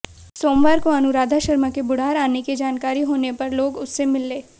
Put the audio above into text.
सोमवार को अनुराधा शर्मा के बुढ़ार आने की जानकारी होने पर लोग उससे मिले